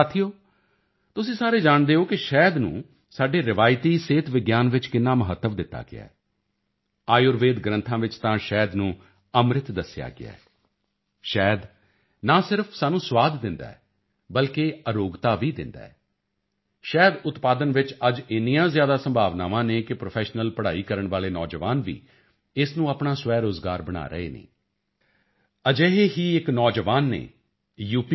ਸਾਥੀਓ ਤੁਸੀਂ ਸਾਰੇ ਜਾਣਦੇ ਹੋ ਕਿ ਸ਼ਹਿਦ ਨੂੰ ਸਾਡੇ ਰਵਾਇਤੀ ਸਿਹਤ ਵਿਗਿਆਨ ਵਿੱਚ ਕਿੰਨਾ ਮਹੱਤਵ ਦਿੱਤਾ ਗਿਆ ਹੈ ਆਯੁਰਵੇਦ ਗ੍ਰੰਥਾਂ ਵਿੱਚ ਤਾਂ ਸ਼ਹਿਦ ਨੂੰ ਅੰਮ੍ਰਿਤ ਦੱਸਿਆ ਗਿਆ ਹੈ ਸ਼ਹਿਦ ਨਾ ਸਿਰਫ਼ ਸਾਨੂੰ ਸਵਾਦ ਦਿੰਦਾ ਹੈ ਬਲਕਿ ਅਰੋਗਤਾ ਵੀ ਦਿੰਦਾ ਹੈ ਸ਼ਹਿਦ ਉਤਪਾਦਨ ਵਿੱਚ ਅੱਜ ਇੰਨੀਆਂ ਜ਼ਿਆਦਾ ਸੰਭਾਵਨਾਵਾਂ ਹਨ ਕਿ ਪ੍ਰੋਫੈਸ਼ਨਲ ਪੜਾਈ ਕਰਨ ਵਾਲੇ ਨੌਜਵਾਨ ਵੀ ਇਸ ਨੂੰ ਆਪਣਾ ਸਵੈਰੋਜ਼ਗਾਰ ਬਣਾ ਰਹੇ ਹਨ ਅਜਿਹੇ ਹੀ ਇੱਕ ਨੌਜਵਾਨ ਨੇ ਯੂ